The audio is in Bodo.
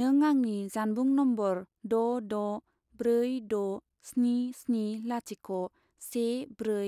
नों आंनि जानबुं नम्बर द' द' ब्रै द' स्नि स्नि लाथिख' से ब्रै